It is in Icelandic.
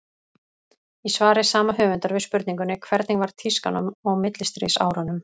Í svari sama höfundar við spurningunni Hvernig var tískan á millistríðsárunum?